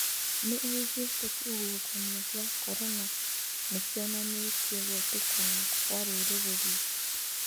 Nĩ augĩte kĩhuhũkanĩo gĩa Korona nĩkionanĩtie gwetũkana Kwa rũrĩrĩ rwĩtũ.